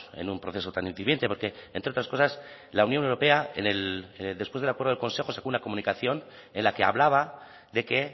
en un proceso tan incipiente porque entre otras cosas la unión europea en el después del acuerdo del consejo sacó una comunicación en la que hablaba de que